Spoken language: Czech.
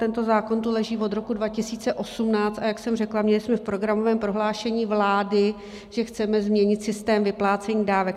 Tento zákon tu leží od roku 2018, a jak jsem řekla, měli jsme v programovém prohlášení vlády, že chceme změnit systém vyplácení dávek.